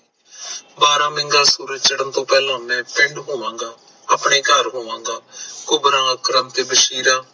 ਬਾਰਹ ਸੂਰਜ ਚਾੜਨ ਤੋਂ ਪਹਿਲਾ ਮੈਂ ਪਿੰਡ ਹੋਵਾਂਗਾ ਆਪਣੇ ਘਰ ਹੋਵਾਂਗਾ ਘੁਬਰਾ ਕਰਮ ਤੇ ਵਸ਼ੀਰਾ